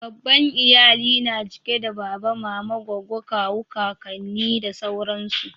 babban iyali na cike da baba mama goggo kawu kakanni da sauransu